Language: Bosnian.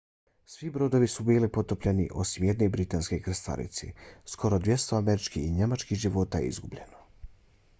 svi brodovi su bili potopljeni osim jedne britanske krstarice. skoro 200 američkih i njemačkih života je izgubljeno